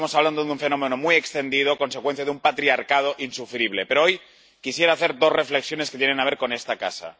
lo tanto, estamos hablando de un fenómeno muy extendido a consecuencia de un patriarcado insufrible. Pero, hoy, quisiera hacer dos reflexiones que tienen que ver con esta Casa.